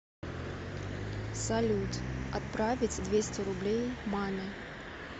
салют отправить двести рублей маме